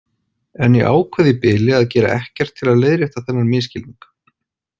En ég ákvað í bili að gera ekkert til að leiðrétta þennan misskilning.